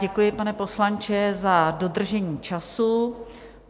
Děkuji, pane poslanče, za dodržení času.